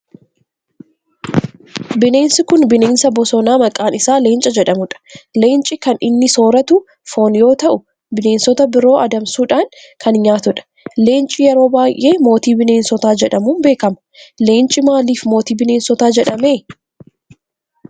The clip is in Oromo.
Bineensi kun bineensa bosonaa maqaan isaa leenca jedhamudha. Leenci kan inni sooratu foon yoo ta'u bineensota biroo adamsuudhan kan nyaatudha. Leenci yeroo baayyee mootii bineensotaa jedhamun beekama. Leenci maalif mootii bineensotaa jedhame?